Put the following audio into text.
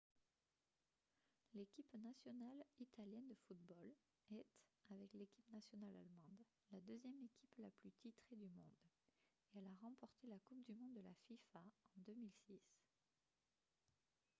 l'équipe nationale italienne de football est avec l'équipe nationale allemande la deuxième équipe la plus titrée du monde et elle a remporté la coupe du monde de la fifa en 2006